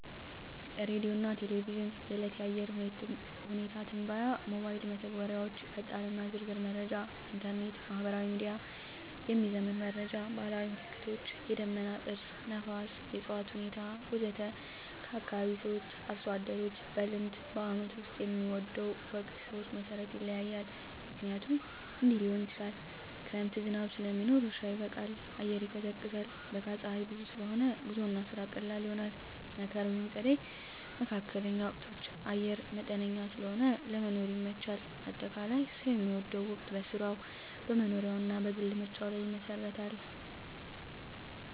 ሬዲዮና ቴሌቪዥን – የዕለት የአየር ሁኔታ ትንበያ ሞባይል መተግበሪያዎች ፈጣንና ዝርዝር መረጃ ኢንተርኔት/ማህበራዊ ሚዲያ – የሚዘመን መረጃ ባህላዊ ምልክቶች – የደመና ቅርጽ፣ ነፋስ፣ የእፅዋት ሁኔታ ወዘተ ከአካባቢ ሰዎች/አርሶ አደሮች – በልምድ በዓመቱ ውስጥ የሚወደው ወቅት ሰዎች መሠረት ይለያያል፣ ምክንያቶቹም እንዲህ ሊሆኑ ይችላሉ፦ ክረምት – ዝናብ ስለሚኖር እርሻ ይበቃል፣ አየር ይቀዝቃዛል። በጋ – ፀሐይ ብዙ ስለሆነ ጉዞና ስራ ቀላል ይሆናል። መከር/ጸደይ (መካከለኛ ወቅቶች) – አየር መጠነኛ ስለሆነ ለመኖር ይመቻቻል። አጠቃላይ፣ ሰው የሚወደው ወቅት በሥራው፣ በመኖሪያው እና በግል ምርጫው ላይ ይመሰረታል።